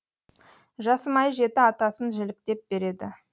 жасымай жеті атасын жіліктеп береді